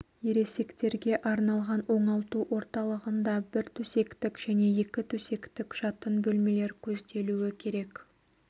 ересектерге арналған оңалту орталығында бір төсектік және екі төсектік жатын бөлмелер көзделуі керек